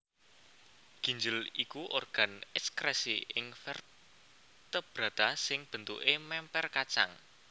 Ginjel iku organ ekskresi ing vertebrata sing bentuké mèmper kacang